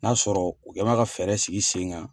N'a sɔrɔ u kɛ n mɛ ka fɛɛrɛ sigi sen kan.